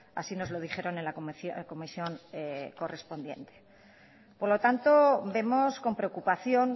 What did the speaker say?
así nos lo dijeron en la comisión correspondiente por lo tanto vemos con preocupación